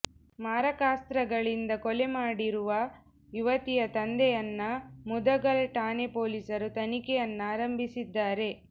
ಮಾರಕಾಸ್ತ್ರಗಳಿಂದ ಕೊಲೆ ಮಾಡಿರುವ ಯುವತಿಯ ತಂದೆಯನ್ನ ಮುದಗಲ್ ಠಾಣೆ ಪೋಲಿಸರು ತನಿಖೆಯನ್ನ ಆರಂಭಿಸಿದ್ದಾರೆ